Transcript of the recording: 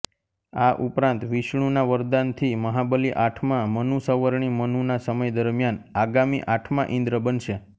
આ ઉપરાંત વિષ્ણુના વરદાનથી મહાબલિ આઠમા મનુ સવર્ણી મનુના સમય દરમિયાન આગામી આઠમા ઇન્દ્ર બનશે